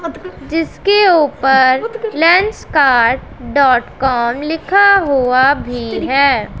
जिसके ऊपर Lenskart dot com लिखा हुआ भी है।